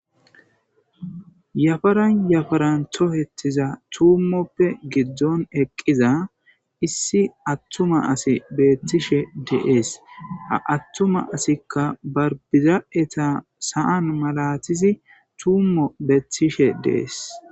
yafaran yafaran tohettiza tuummoppe giddon eqqiza issi attuma asi beettishe dees aattuma asikka barbiza7eta saan malatizi tuummo beettishe dees.